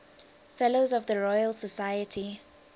fellows of the royal society